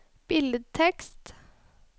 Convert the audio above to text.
billedtekst